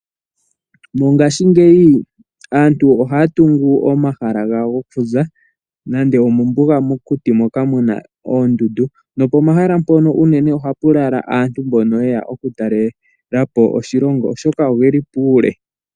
Mongashingeyi aantu ohaya tungu omahala gawo gokuza nande omombuga mokuti moka muna oondundu nopomahala ngono unene ohapu lala aantu mbono yeya okutalelapo oshilongo, oshoka ogeli puule.